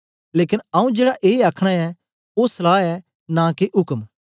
लेकन आऊँ जेड़ा ए आखना ऐ ओ सलहा ऐ नां के उक्म